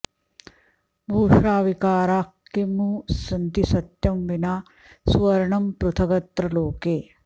भूषाविकाराः किमु सन्ति सत्यं विना सुवर्णं पृथगत्र लोके